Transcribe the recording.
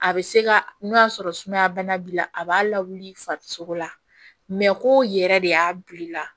A bɛ se ka n'o y'a sɔrɔ sumaya bana b'i la a b'a lawuli farisoko la ko yɛrɛ de y'a bil'ila